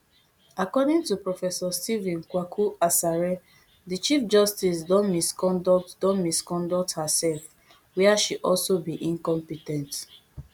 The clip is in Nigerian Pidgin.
according to professor stephen kwaku asare di chief justice don misconduct don misconduct herserf wia she also be incompe ten t